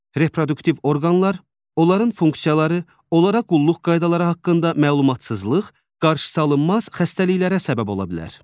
Reproduktiv orqanlar, onların funksiyaları, onlara qulluq qaydaları haqqında məlumatsızlıq qarşısıalınmaz xəstəliklərə səbəb ola bilər.